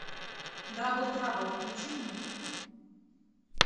дабл трабл включи мне